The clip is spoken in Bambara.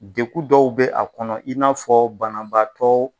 Deku dɔw bɛ a kɔnɔ i n'a fɔ banabaatɔ